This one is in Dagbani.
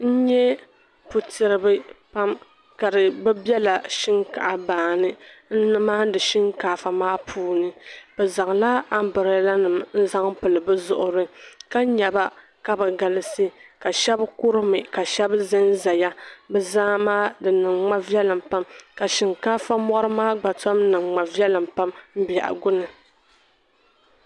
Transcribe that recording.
N-nyɛ putiribi pam ka bi be la shinkaa' baani n-maandi shinkaafa maa puuni. Bi zaŋ la umbrellanim n-zaŋ pili bi zuɣiri. Ka nya ba ka bi galisi, ka shɛba kɔri mi ka shɛba zan zaya. Bi zaa maa, di niŋ ma viɛlim pam ka shinkaafa mɔri maa gba tom niŋ ma viɛlim pam biɛhigu ni.